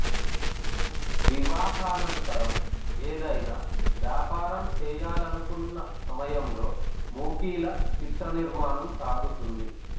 వివాహానంతరం ఏదైనా వ్యాపారం చేయాలనుకున్న సమయంలో మూకీల చిత్ర నిర్మాణం సాగుతుంది